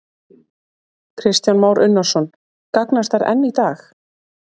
Kristján Már Unnarsson: Gagnast þær enn í dag?